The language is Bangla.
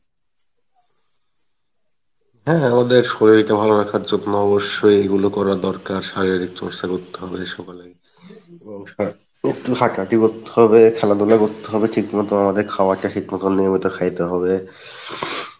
হ্যাঁ হ্যাঁ ওদের শরীল টা ভালো রাখার জন্য অবশ্যই এগুলো করা দরকার শারিরীক চর্চা করতে হবে সকালে গিয়ে এবং একটু হাটাহাটি করতে হবে খেলাধুলা করতে হবে ঠিক মত আমাদের খাওয়ার টা আমাদের নিয়মিত খাইতে হবে,